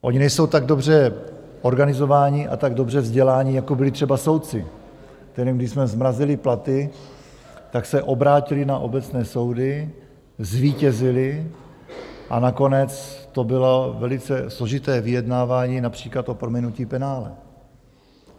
Oni nejsou tak dobře organizovaní a tak dobře vzdělaní, jako byli třeba soudci, kterým, když jsme zmrazili platy, tak se obrátili na obecné soudy, zvítězili a nakonec to bylo velice složité vyjednávání, například o prominutí penále.